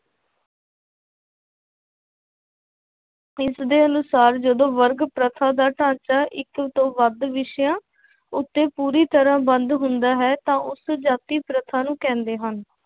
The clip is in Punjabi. ਇਸਦੇ ਅਨੁਸਾਰ ਜਦੋਂ ਵਰਗ ਪ੍ਰਥਾ ਦਾ ਢਾਂਚਾ ਇੱਕ ਤੋਂ ਵੱਧ ਵਿਸ਼ਿਆ ਉੱਤੇ ਪੂਰੀ ਤਰ੍ਹਾਂ ਬੰਦ ਹੁੰਦਾ ਹੈ ਤਾਂ ਉਸ ਜਾਤੀ ਪ੍ਰਥਾ ਨੂੰ ਕਹਿੰਦੇ ਹਨ।